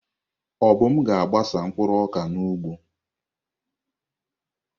Obum ga-agbasa mkpụrụ ọka n'ugbo.